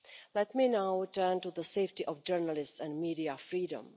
Let me now turn to the safety of journalists and media freedom.